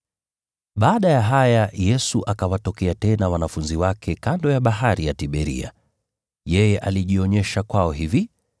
Baada ya haya Yesu akawatokea tena wanafunzi wake kando ya Bahari ya Tiberia. Yeye alijionyesha kwao hivi: